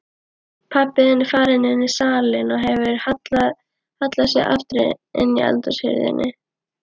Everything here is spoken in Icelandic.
Pabbi er farinn inní salinn og hefur hallað aftur eldhúshurðinni.